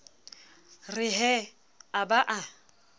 re he a ba a